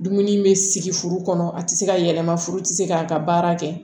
Dumuni bɛ sigi furu kɔnɔ a tɛ se ka yɛlɛma furu tɛ se k'a ka baara kɛ